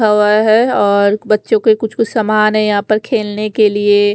है और बच्चो के कुछ कुछ सामान है यहाँ पर खेलने के लिए --